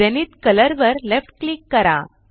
Zenith colour वर left click करा